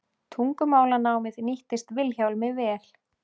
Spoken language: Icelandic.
Tungumálanámið nýttist Vilhjálmi vel.